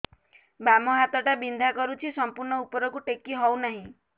ବାମ ହାତ ଟା ବିନ୍ଧା କରୁଛି ସମ୍ପୂର୍ଣ ଉପରକୁ ଟେକି ହୋଉନାହିଁ